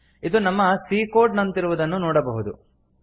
ಇದು ನಮ್ಮ C code ನಂತಿರುವುದನ್ನು ನೋಡಬಹುದು